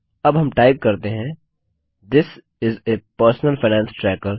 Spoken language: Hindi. अब हम टाइप करते हैं थिस इस आ पर्सनल फाइनेंस ट्रैकर